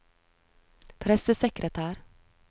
pressesekretær